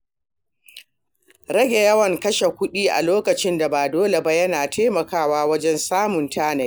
Rage yawan kashe kuɗi a lokutan da ba dole ba yana taimakawa wajen samun tanadi.